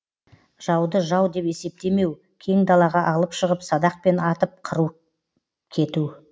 жауды жау деп есептемеу кең далаға алып шығып садақпен атып қырып кету